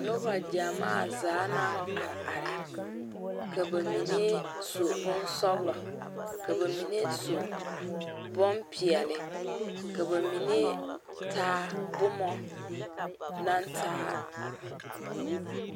Noba gyamaa zaa naŋ are are ka ba mine su bonpɛɛle ka ba mine su bonsɔglɔ ka ba mine taa boma naŋ taa